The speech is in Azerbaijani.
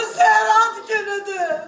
Onun səhər ad günüdür.